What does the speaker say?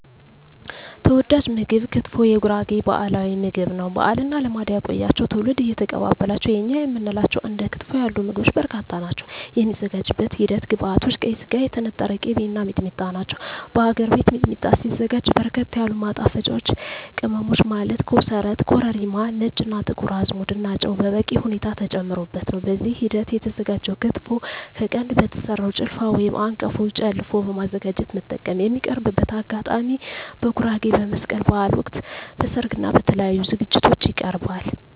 ተወዳጅ ምግብ ክትፎ የጉራጌ ባህላዊ ምግብ ነው። ባህልና ልማድ ያቆያቸው ትውልድ እየተቀባበላቸው የእኛ የምንላቸው እንደ ክትፎ ያሉ ምግቦች በርካታ ናቸው። የሚዘጋጅበት ሂደት ግብዐቶች ቀይ ስጋ, የተነጠረ ቅቤ , እና ሚጥሚጣ ናቸው። በሀገር ቤት ሚጥሚጣ ሲዘጋጅ በርከት ያሉ ማጣፈጫወች ቅመሞች ማለት ኮሰረት , ኮረሪማ , ነጭ እና ጥቁር አዝሙድ እና ጨው በበቂ ሁኔታ ተጨምሮበት ነው። በዚህ ሂደት የተዘጋጀው ክትፎ ከቀንድ በተሰራው ጭልፋ/አንቀፎ ጨለፎ በማዘጋጀት መጠቀም። የሚቀርብበት አጋጣሚ በጉራጌ በመስቀል በሀል ወቅት, በሰርግ እና በተለያዪ ዝግጅቶች ይቀርባል።።